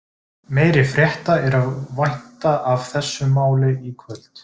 Meiri frétta er að vænta af þessu máli í kvöld.